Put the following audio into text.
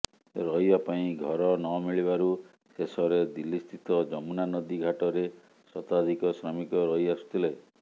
ରହିବା ପାଇଁ ଘର ନମିଳିବାରୁ ଶେଷରେ ଦିଲ୍ଲୀସ୍ଥିତ ଯମୁନା ନଦୀ ଘାଟରେ ଶତାଧିକ ଶ୍ରମିକ ରହିଆସୁଥିଲେ